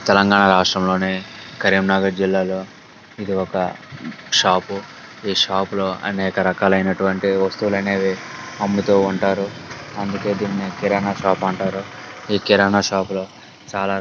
తెలంగాణ రాష్ట్రంలోనే కరీంనగర్ జిల్లాలో ఇది ఒక షాప్ పు ఈ షాప్ లో అనేక రకాలైనటువంటి వస్తువులు అనేవి అమ్ముతూ ఉంటారు. అందుకే దీన్ని కిరాణా షాప్ అంటారు. ఈ కిరాణా షాప్ లో చాలా --